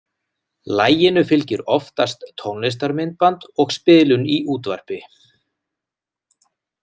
Laginu fylgir oftast tónlistarmyndband og spilun í útvarpi.